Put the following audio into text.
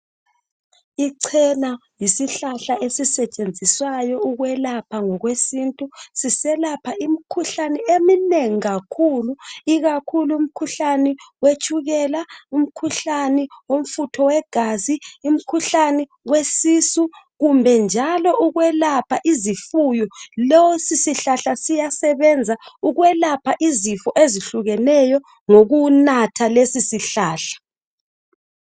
Ichena yisihlahla ezisetshenziswayo ukwelapha ngokwesintu siselapha imikhuhlane eminengi kakhulu ikakhulu umkhuhlane wetshukela umkhuhlane womfutho wegazi imikhuhlane wesisu kumbe njalo ukwelapha izifuyo lesi sihlahla siyasebenza ukwelapha izifo ezihlukeneyo ngokunatha lesi sihlahla.